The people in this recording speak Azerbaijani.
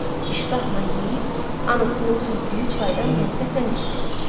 İştahla yeyib, anasının süzdüyü çaydan ləzzətlə içdi.